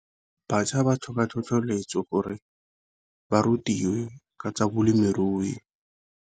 Batjha ba tlhoka tlhotlheletso gore ba rutiwe ka tsa balemirui.